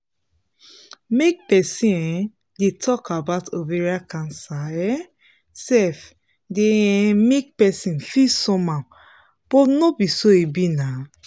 make persin um dey talk about ovarian cancer um sef dey um make persin feel somehow but no be so e be now